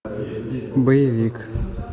боевик